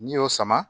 N'i y'o sama